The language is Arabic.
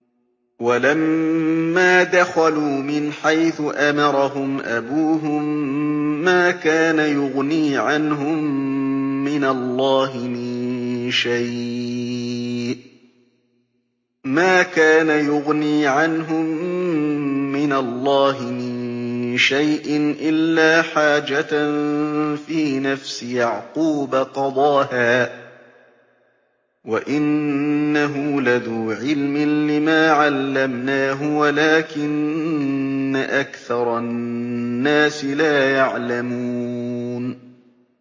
وَلَمَّا دَخَلُوا مِنْ حَيْثُ أَمَرَهُمْ أَبُوهُم مَّا كَانَ يُغْنِي عَنْهُم مِّنَ اللَّهِ مِن شَيْءٍ إِلَّا حَاجَةً فِي نَفْسِ يَعْقُوبَ قَضَاهَا ۚ وَإِنَّهُ لَذُو عِلْمٍ لِّمَا عَلَّمْنَاهُ وَلَٰكِنَّ أَكْثَرَ النَّاسِ لَا يَعْلَمُونَ